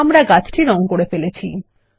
আমরা গাছ কে রঙ করেছি160